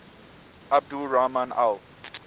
abdul rahman al